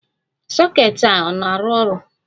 Soket a na-arụ ọrụ?